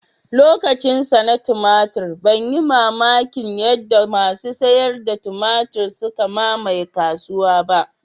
Lokacinsa na tumatur ban yi mamakin yadda masu sayar da tumatur suka mamaye kasuwa ba